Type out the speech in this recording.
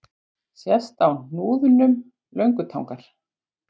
Sést á hnúðnum löngutangar.